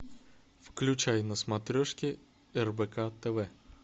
включай на смотрешке рбк тв